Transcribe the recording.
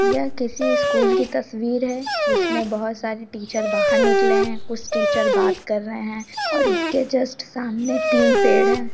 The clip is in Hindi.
यह किसी स्कूल की तस्वीर है जिसमें बहुत सारी टीचर्स बाहर निकले हैं कुछ टीचर बात कर रहें हैं और इसके जस्ट सामने तीन पेड़ हैं ।